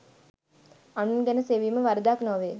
අනුන් ගැන සෙවීම වරදක් නොවේ.